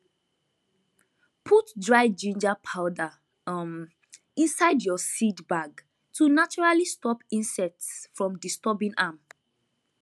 put dry ginger powder um inside your seed bag to naturally stop insects from disturbing am